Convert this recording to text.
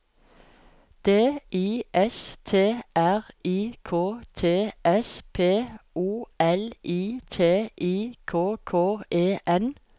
D I S T R I K T S P O L I T I K K E N